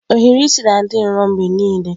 Ohiri isi na-adị nro mgbe niile.